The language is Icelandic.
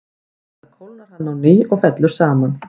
Við það kólnar hann á ný og fellur saman.